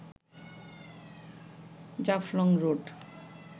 Jaflong road